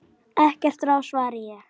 Ekkert að ráði svaraði ég.